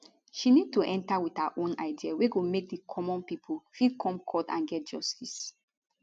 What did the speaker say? she need to enta wit her own idea wey go make di common pipo fit come court and get justice